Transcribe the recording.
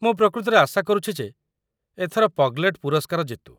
ମୁଁ ପ୍ରକୃତରେ ଆଶା କରୁଛି ଯେ ଏଥର 'ପଗ୍‌ଲେଟ୍' ପୁରସ୍କାର ଜିତୁ।